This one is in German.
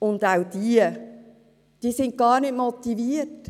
Wer mitmacht, ist gar nicht motiviert.